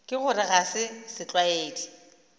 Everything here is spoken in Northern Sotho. ka gore ga se setlwaedi